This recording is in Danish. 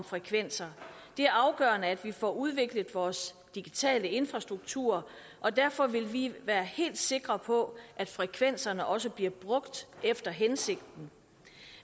frekvenser det er afgørende at vi får udviklet vores digitale infrastruktur og derfor vil vi være helt sikre på at frekvenserne også bliver brugt efter hensigten